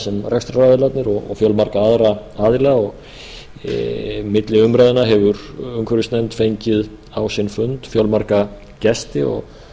sem rekstraraðilarnir og fjölmarga aðra aðila milli umræðna hefur umhverfisnefnd fengið á sinn fund fjölmarga gesti og